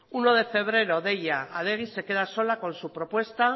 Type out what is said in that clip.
uno de febrero deia adegi se queda sola con su propuesta